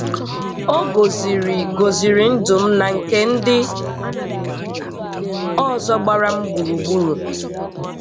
O goziri goziri ndụ m nà nke ndị ọzọ gbara m gburugburu.